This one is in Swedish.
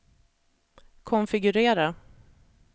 konfigurera